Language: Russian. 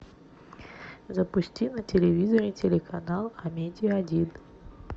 запусти на телевизоре телеканал амедия один